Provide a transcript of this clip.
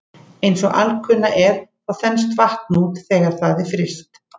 Eins og alkunna er þá þenst vatn út þegar það er fryst.